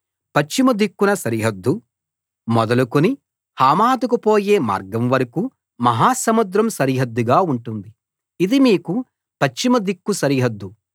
పశ్చిమ దిక్కున సరిహద్దు మొదలుకొని హమాతుకు పోయే మార్గం వరకూ మహాసముద్రం సరిహద్దుగా ఉంటుంది ఇది మీకు పశ్చిమ దిక్కు సరిహద్దు